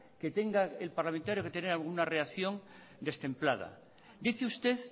que tenga el parlamentario que tener alguna reacción destemplada dice usted